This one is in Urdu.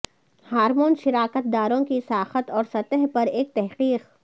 ہارمونز شراکت داروں کی ساخت اور سطح پر ایک تحقیق